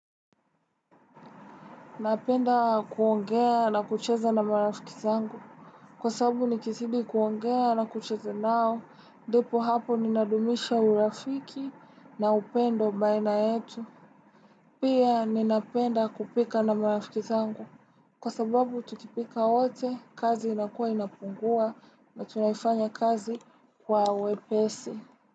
Napenda kuongea na kucheza na marafiki zangu. Kwa sababu nikizidi kuongea na kucheza nao, ndipo hapo ninadumisha urafiki na upendo baina yetu. Pia ninapenda kupika na marafiki zangu. Kwa sababu tukipika wote, kazi inakua inapungua na tunafanya kazi kwa wepesi.